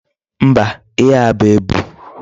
Mba, ihe a bụ ebu?